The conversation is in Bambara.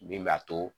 Min b'a to